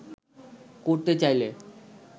করতে চাইলে